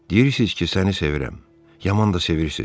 Deyirsiz ki, səni sevirəm, yaman da sevirsiz.